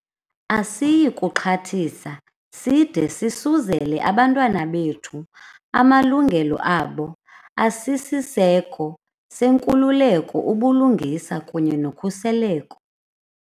Asiyi kuxhathisa side sisuzele abantwana bethu amalungelo abo asisiseko senkululeko, ubulungisa kunye nokhuseleko".